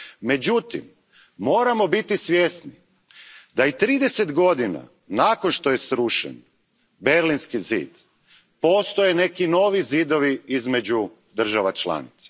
Međutim, moramo biti svjesni da i trideset godina nakon što je srušen Berlinski zid, postoje neki novi zidovi između država članica.